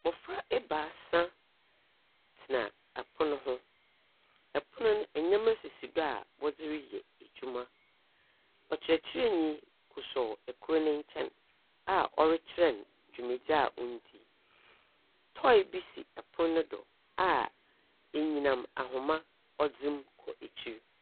Mmɔfra ebaasa tena ɛpono ho. Ɛpono no ndɛmaa sisi do a wɔderi yɛ edwuma. Ɔkyirɛkyirɛnii kusuw ɛkoro ne nkyɛn a ɔretɔkyirɛn dwumadie ondi. Tɔi bi si ɛpon no do a enyinam ahoma ɔdɛm kɔ ekyir.